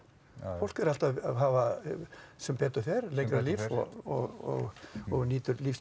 fólk er alltaf að hafa sem betur fer lengra líf og nýtur lífsgæða